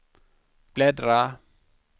bläddra